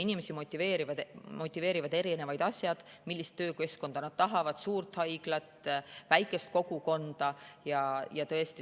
Inimesi motiveerivad erinevad asjad, ka see, millist töökeskkonda nad tahavad, kas suurt haiglat või väikest kogukonda.